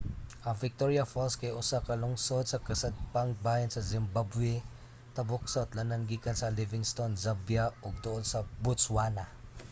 ang victoria falls kay usa ka lungsod sa kasadpang bahin sa zimbabwe tabok sa utlanan gikan sa livingstone zambia ug duol sa botswana